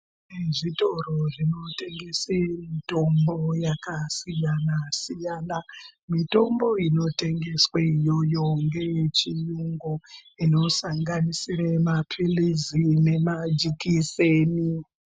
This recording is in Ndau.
Zvitoro zvinotengese mitombo yakasiyana siyana. Mitombo inotengeswe iyoyo ngeye chiyungu inosanganisire mapirizi nemajikiseni.